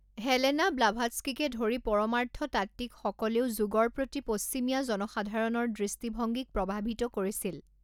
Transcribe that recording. Helena ব্লাভাটস্কিকে ধৰি পৰমাৰ্থতাত্ত্বিকসকলেও যোগৰ প্ৰতি পশ্চিমীয়া জনসাধাৰণৰ দৃষ্টিভংগীক প্ৰভাৱিত কৰিছিল।